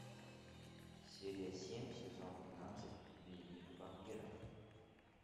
серия семь сезон двенадцать дневник вампира